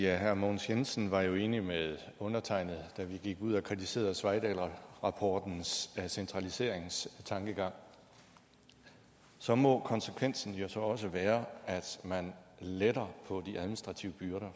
herre mogens jensen var jo enig med undertegnede da vi gik ud og kritiserede sveidahlrapportens centraliseringstankegang så må konsekvensen jo også være at man letter på de administrative byrder